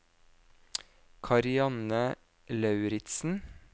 Karianne Lauritzen